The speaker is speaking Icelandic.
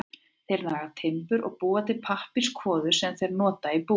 Þeir naga timbur og búa til pappírskvoðu sem þeir nota í búið.